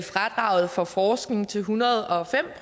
fradraget for forskning til en hundrede og fem